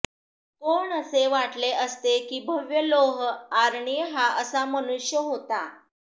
कोण असे वाटले असते की भव्य लोह आरनी हा असा मनुष्य होता